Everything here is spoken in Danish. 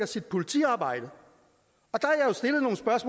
sit politiarbejde